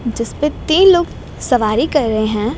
जिसपे तीन लोग सवारी कर रहे हैं।